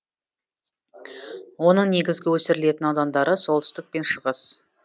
оның негізгі өсірілетін аудандары солтүстік пен шығыс